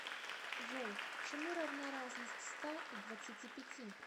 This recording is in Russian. джой чему равна разность ста и двадцати пяти